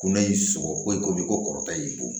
Ko ne y'i sɔgɔ foyi komi ko kɔrɔ ta y'i bon